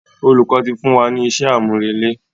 Olùkọ́ ti fún wa ni iṣẹ́ àmúrelé.